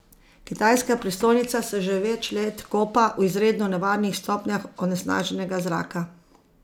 Kitajska prestolnica se že več let kopa v izredno nevarnih stopnjah onesnaženega zraka.